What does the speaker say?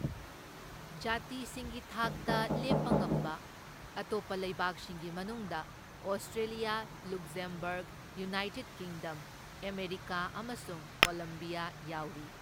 ꯖꯥꯇꯤꯁꯤꯡꯒꯤ ꯊꯥꯛꯇ ꯂꯦꯞꯄꯉꯝꯕ ꯑꯇꯣꯞꯄ ꯂꯩꯕꯥꯛꯁꯤꯡꯒꯤ ꯃꯅꯨꯡꯗ Australia, Luxembourg, United Kingdom, America ꯑꯃꯁꯨꯡ ꯀꯣꯂꯝꯕꯤꯌꯥ ꯌꯥꯎꯔꯤ꯫